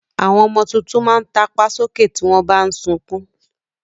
Àwọn ọmọ tuntun máa ń tàpá sókè tí wọn bà ń sunkún